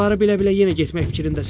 Bunları bilə-bilə yenə getmək fikrindəsən?